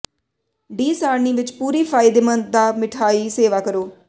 D ਸਾਰਣੀ ਵਿੱਚ ਪੂਰੀ ਫਾਇਦੇਮੰਦ ਦਾ ਮਿਠਆਈ ਸੇਵਾ ਕਰੋ